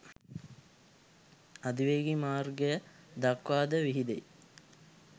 අධිවේගී මාර්ගය දක්වා ද විහිදෙයි